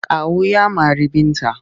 Kawu ya mari Binta.